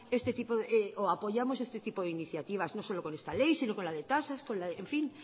este tipo o apoyamos este tipo de iniciativas no solo con esta ley sino con la de tasas en fin